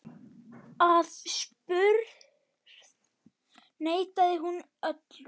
Aðspurð neitaði hún öllu.